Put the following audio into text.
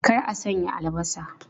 Kar a sanya albasa!